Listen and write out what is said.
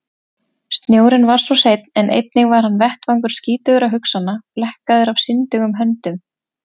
Snjórinn var svo hreinn en einnig hann var vettvangur skítugra hugsana, flekkaður af syndugum höndum.